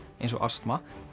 eins og astma